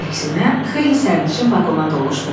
Əksinə xeyli sərnişin vaqona doluşdu.